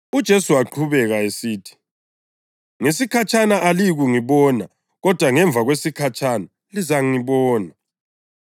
UJesu waqhubeka esithi, “Ngesikhatshana aliyi kungibona, kodwa ngemva kwesikhatshana lizangibona.”